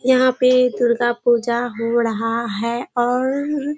यहाँ पे दुर्गा पूजा हो रहा है और --